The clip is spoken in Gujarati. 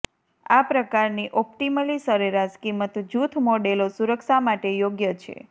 આ પ્રકારની ઑપ્ટિમલી સરેરાશ કિંમત જૂથ મોડેલો સુરક્ષા માટે યોગ્ય છે